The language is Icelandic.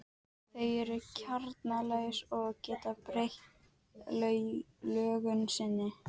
Kommóða út við dyr og spegillinn á veggnum yfir henni.